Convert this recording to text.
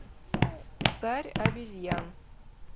царь обезьян